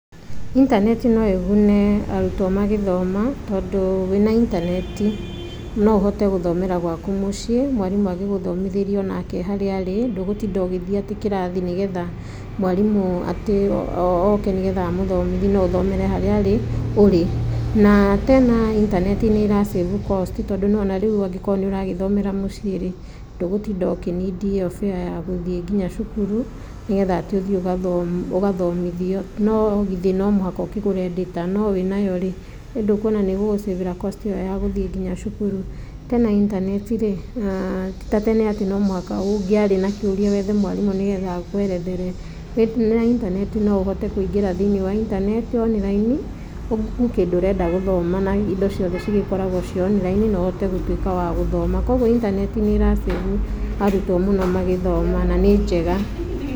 Intaneti no ĩgune arutwo magĩthoma tondũ, wĩna intaneti, no ũhote gũthomera gwaku mũciĩ, mwarimũ agĩgũthomethĩria o nake harĩa arĩ, ndũgũtinda ũgĩthiĩ atĩ kĩrathi nĩgetha mwarimũ atĩ oo ke nĩgetha amũthomithie, no ũthomere harĩa arĩ ũrĩ, na tena intaneti nĩra save cost tondũ nĩ wona rĩu angĩkorwo nĩ ũragĩthomera mũciĩ rĩ, ndũgũtinda ũkĩ need ĩyo fare ya gũthiĩ nginya cukuru nĩgetha atĩ ũthiĩ ũgathomo ũgathomithio, no githĩ no mũhaka ũkĩgũre data no wĩnayo rĩ, ĩndũkwona nĩgũgũ save ra cost ĩyo ya gũthiĩ nginya cukuru tena intaneti rĩ aaa titatene atĩ no mũhaka ũngĩarĩ na kĩũria wethe mwarimũ nĩgetha akwerethere, wĩna intaneti no ũhote kũingĩra thiinĩ wa intaneti online ũũ Google kĩndũ ũrenda gũthoma na indo ciothe cigĩkoragwo ciĩ online na ũhote wa gũtuĩka wa gũthoma, kwoguo intaneti nĩra save arutwo mũno magĩthoma na nĩ njega.